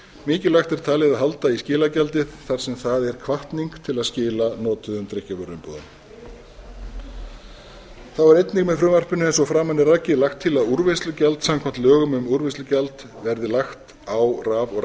mikilvægt er talið að halda í skilagjaldið þar sem það er hvatning til að skila notuðum drykkjarvöruumbúðum þá er einnig með frumvarpinu eins og framan er rakið lagt til að úrvinnslugjald samkvæmt lögum um úrvinnslugjald verði lagt á raf og